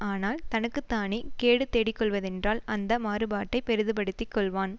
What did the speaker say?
ஆனால் தனக்கு தானே கேடு தேடிக் கொள்வதென்றால் அந்த மாறுபாட்டைப் பெரிதுபடுத்திக் கொள்வான்